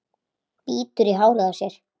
Bítur í hárið á sér.